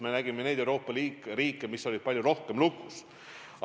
Me teame Euroopa riike, mis olid palju rohkem lukus.